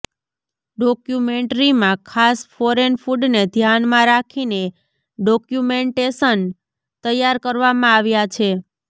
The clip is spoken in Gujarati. ડોક્યુમેન્ટરીમાં ખાસ ફોરેન ફૂડને ધ્યાનમાં રાખીને ડોક્યુમેન્ટેશન તૈયાર કરવામાં આવ્યા છે